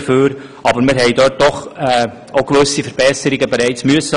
Aber wir haben dort doch bereits gewisse Verbesserungen machen müssen;